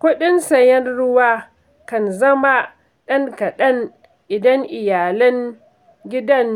Kuɗin sayen ruwa kan zama ɗan kaɗan idan iyalin gidan